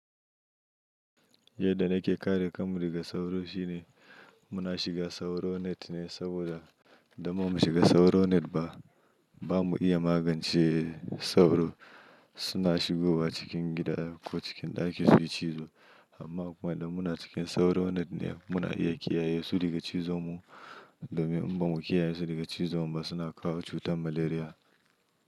Yadda nake kare kanmu daga sauro shine muna shiga sauro net ne saboda idan bamu shiga sauro net ba, ba mu iya magance sauro. Suna shigowa cikin gida ko cikin ɗaki su yi cizo amma kuma idan muna cikin sauro net ne muna iya kiyaye su daga cizonmu. Domin in ba mu kiyaye su daga cizonmu ba suna kawo cutar malaria.